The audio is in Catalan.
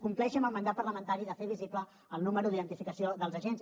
compleixi amb el mandat parlamentari de fer visible el número d’identificació dels agents